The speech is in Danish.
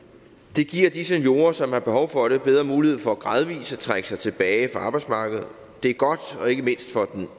det giver de seniorer som har behov for det bedre mulighed for gradvis at trække sig tilbage fra arbejdsmarkedet det er godt